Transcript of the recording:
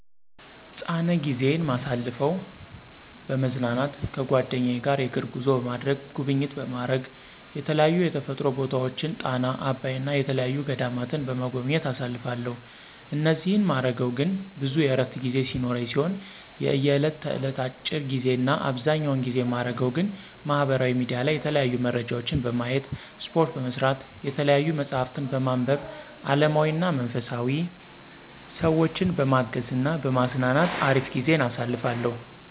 ፃነ ጊዜይን ማሳልፈው፦ በመዝናናት ከጓደኛ ጋር የእግር ጉዞ በማድረግ፣ ጉብኝት በማረግ የተለያዩ የተፈጥሮ ቦታወችን ጣና፣ አባይ እና የተየያዩ ገዳማትን በመጎብኘት አሳልፋለሁ እኒህን ማረገው ግን ብዙ የእረፍት ጊዜ ሲኖረኝ ሲሆን የእየለት እለት አጭር ጊዜ እና አብዘኛውን ጊዜ ማረገው ግን ማህበራዊ ሚዲያ ላይ የተለያዩ መረጃወችን በማየት፣ እስፓርት በመስራት፣ የተያዩ መፅሀፍትን በማንብ አለማዊና መንፈሳዊ፣ ሰወችን በማገዝ እና በማዝናናት አሪፍ ጊዜን አሳልፋለሁ።